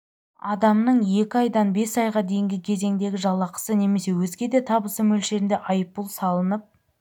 адамның екі айдан бес айға дейінгі кезеңдегі жалақысы немесе өзге де табысы мөлшерінде айыппұл салынып